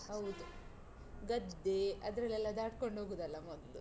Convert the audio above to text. ಹೌದು, ಗದ್ದೇ ಅದ್ರಲ್ಲೆಲ್ಲ ದಾಟ್ಕೊಂಡ್ ಹೋಗುದಲ್ಲ ಮೊದ್ಲು?